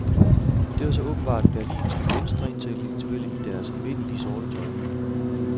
Det var så åbenbart berlinske venstreintellektuelle i deres evindelige sorte tøj.